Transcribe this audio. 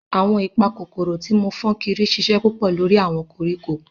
Awọn ipakokoro ti mo fun sokiri ṣiṣẹ pupọ lori awọn koriko.